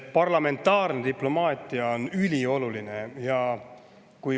Parlamentaarne diplomaatia on ülioluline.